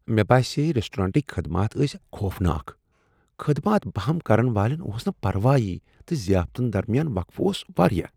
مےٚ باسییہِ ریسٹورینٹٕكۍ خدمات ٲسۍ خوفناک۔ خدمات بہم كرن والین اوس نہ پروایی تہٕ ضِیافتن درمیان وقفہٕ اوس وارِیاہ ۔